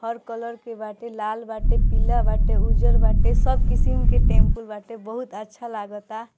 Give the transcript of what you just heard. हर colour के बाटे लाल बाटे पीला बाटे उजर बाटे सब कीसम के टैंपू बाटे बहुत अच्छा लगता।